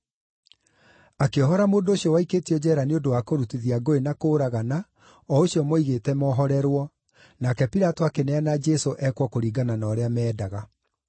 Akĩohora mũndũ ũcio waikĩtio njeera nĩ ũndũ wa kũrutithia ngũĩ na kũũragana, o ũcio moigĩte mohorerwo, nake Pilato akĩneana Jesũ ekwo kũringana na ũrĩa mendaga.